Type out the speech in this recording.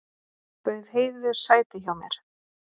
Bauð Heiðu sæti hjá mér.